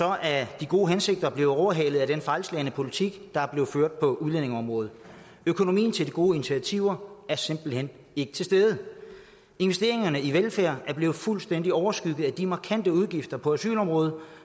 er de gode hensigter blevet overhalet af den fejlslagne politik der er blevet ført på udlændingeområdet økonomien til de gode initiativer er simpelt hen ikke til stede investeringerne i velfærd er blevet fuldstændig overskygget af de markante udgifter på asylområdet